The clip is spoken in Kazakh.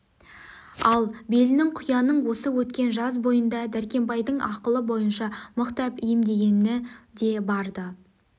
ал белінің құяның осы өткен жаз бойында дәркембайдың ақылы бойынша мықтап емдегені де бар-ды